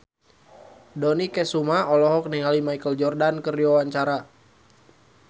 Dony Kesuma olohok ningali Michael Jordan keur diwawancara